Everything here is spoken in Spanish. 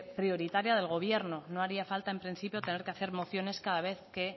prioritaria del gobierno no haría falta en principio tener que hacer mociones cada vez que